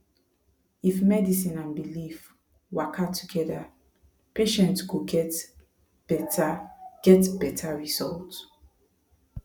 if medicine and belief waka together patient go get better get better result